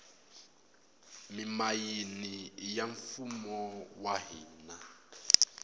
mimayini iya mfumo wa hina